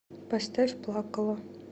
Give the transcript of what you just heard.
поставь плакала